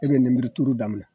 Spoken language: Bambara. E bɛ ninburu turu daminɛ.